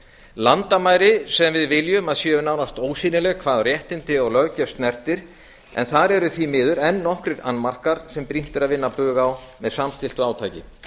landamæri sem við viljum að séu nánast ósýnileg hvað réttindi og löggjöf snertir en þar eru því miður enn nokkrir annmarkar sem brýnt er að vinna bug á með samstilltu átaki